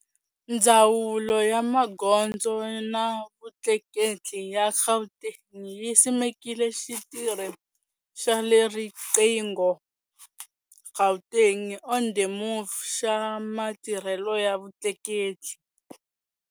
Ndzawulo ya Magondzo na Vutleketli ya Gauteng yi simekile xitirhi xa ri qingho Gauteng on the Move xa matirhelo ya vutleketli.